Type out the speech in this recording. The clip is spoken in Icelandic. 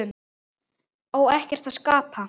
Á ekkert að skapa?